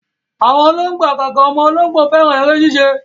Àwọn ológbò àgàgà ọmọ ológbò, fẹ́ràn eré ṣíṣe